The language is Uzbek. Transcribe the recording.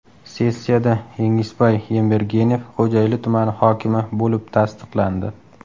Sessiyada Jengisbay Yembergenov Xo‘jayli tumani hokimi bo‘lib tasdiqlandi.